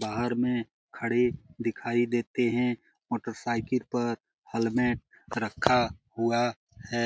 बाहर में खड़े दिखाई देते है। मोटरसाइकिल पर हेलमेट रखा हुआ है।